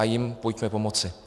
A jim pojďme pomoci.